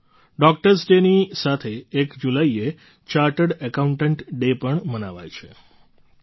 સાથીઓ ડૉક્ટર્સ ડેની સાથે એક જુલાઈએ ચાર્ટર્ડ એકાઉન્ટન્ટ ડે પણ મનાવાય છે